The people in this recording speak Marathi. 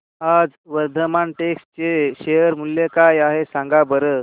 आज वर्धमान टेक्स्ट चे शेअर मूल्य काय आहे सांगा बरं